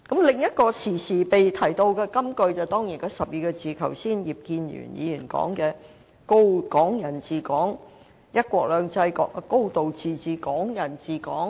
另一個經常被提到的金句，當然就是葉建源議員剛才提及的12個字，即"一國兩制"、"高度自治"、"港人治港"。